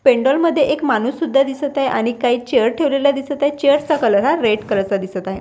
पेंडॉल मध्ये एक माणूस सुद्धा दिसत आहे आणि काही चेअर ठेवलेला दिसत आहे चेयर चा कलर हा रेड कलर चा दिसत आहे.